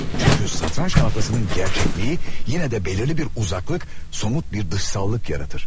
Çünki satranç tahtasının gerçəkliyi yenə də belirli bir uzaklık, somut bir dışsallık yaradır.